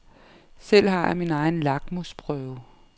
Selv har jeg min egen lakmusprøve.